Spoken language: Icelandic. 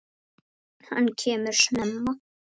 Það varð dálítið þunnt.